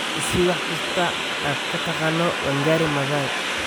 i sii wax kasta oo aad ka taqaano Wangari maathai